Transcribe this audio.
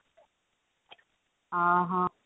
ଅ ହଁ